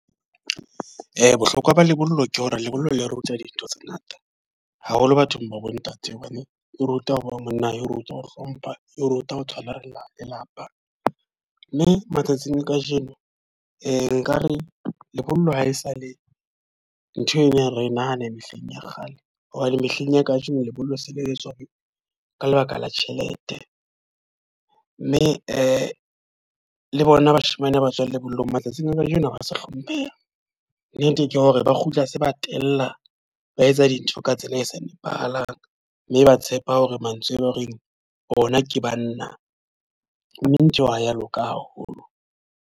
Bohlokwa ba lebollo ke hore lebollo le ruta dintho tse ngata. Haholo bathong ba bo ntate, hobane e ruta ho ba monna, e o ruta ho hlompha, e o ruta ho tshwara lelapa. Mme matsatsing a ka jeno e ka re lebollo ha esale ntho e nyane re nahana mehleng ya kgale. Hobane mehleng ya ka jeno lebollo se le etswa ka lebaka la tjhelete. Mme le bona bashemane ba tswang lebollong matsatsing a ka jeno ha ba sa hlompheha. Nnete ke hore ba kgutla se ba tella ba etsa dintho ka tsela e sa nepahalang. Mme ba tshepa hore mantswe e ba horeng ona ke banna mme ntho eo ha ya loka haholo.